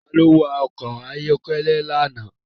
Tani ó wa ọkọ̀ ayọ́kẹ́lẹ́ àná?